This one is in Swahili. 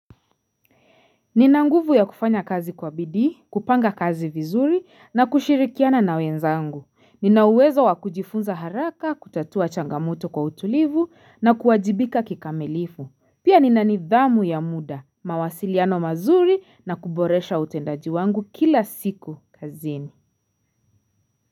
Nina nguvu ya kufanya kazi kwa bidii, kupanga kazi vizuri na kushirikiana na wenzangu. Ninauwezo wakujifunza haraka, kutatua changamoto kwa utulivu na kuwajibika kikamilifu. Pia ninanidhamu ya muda, mawasiliano mazuri na kuboresha utendaji wangu kila siku kazini.